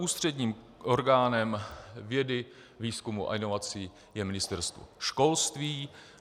Ústředním orgánem vědy, výzkumu a inovací je Ministerstvo školství.